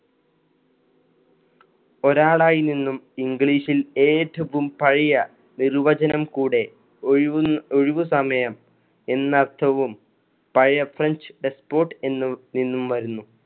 ഒരാളായി നിന്നും english ൽ ഏറ്റവും പഴെയ നിര്‍വചനം കൂടെ ഒഴിവ്~ ഒഴിവ് സമയം എന്ന അർത്ഥവും പഴയെ ഫ്രഞ്ച് E sports എന്നും നിന്നും വരുന്നു.